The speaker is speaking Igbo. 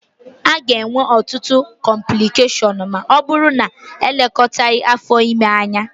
A ga-enwe ọtụtụ cọmplịkeshọnụ ma ọ bụrụ na-elekọtaghi afọ ime anya